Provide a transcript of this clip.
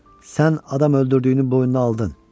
Sən adam öldürdüyünü boynuna aldın.